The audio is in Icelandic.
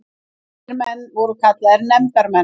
Þessir menn voru kallaðir nefndarmenn.